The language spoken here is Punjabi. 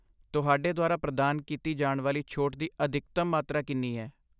ਤੁਹਾਡੇ ਦੁਆਰਾ ਪ੍ਰਦਾਨ ਕੀਤੀ ਜਾਣ ਵਾਲੀ ਛੋਟ ਦੀ ਅਧਿਕਤਮ ਮਾਤਰਾ ਕਿੰਨੀ ਹੈ?